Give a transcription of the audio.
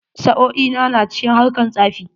Sa'o'i na na cikin harkar tsafi.